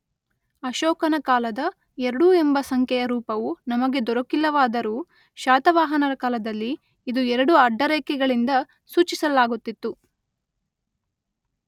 ಅಶೋಕನ ಕಾಲದ ಎರಡು ಎಂಬ ಸಂಖ್ಯೆಯ ರೂಪವು ನಮಗೆ ದೊರಕಿಲ್ಲವಾದರೂ ಶಾತವಾಹನರ ಕಾಲದಲ್ಲಿ ಇದು ಎರಡು ಅಡ್ಡ ರೇಖೆಗಳಿಂದ ಸೂಚಿಸಲಾಗುತಿತ್ತು.